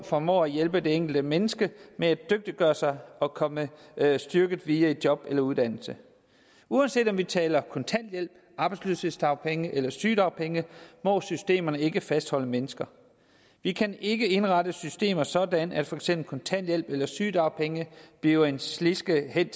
formår at hjælpe det enkelte menneske med at dygtiggøre sig og komme styrket videre i job eller uddannelse uanset om vi taler kontanthjælp arbejdsløshedsdagpenge eller sygedagpenge må systemerne ikke fastholde mennesker vi kan ikke indrette systemer sådan at for eksempel kontanthjælp eller sygedagpenge bliver en sliske hen